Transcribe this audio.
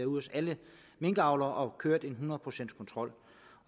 hos alle minkavlere og kørt en hundrede procents kontrol